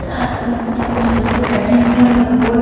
classroom में कुछ बच्चे बैठे हैं और बोर्ड --